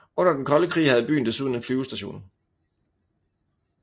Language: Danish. Under den kolde krig havde byen desuden en flyvestation